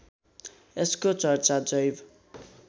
यसको चर्चा जैव